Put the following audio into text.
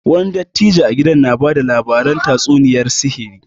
Wani dattijo a gidan na bada labaran tatsuniyar sihiri